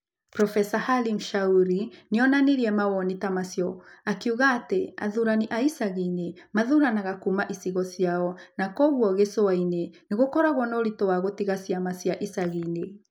Profesa Halim Shauri nĩ oonanirie mawoni ta macio akiuga atĩ athuurani a icagi-inĩ mathuuranaga kuuma ĩcigo ciao, na kwoguo gĩcũa-inĩ nĩ gũkoragwo na ũritũ wa gũtiga a na ciama cia icagi-inĩ.